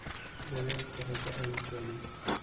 Dadhalka raja ayuu keena.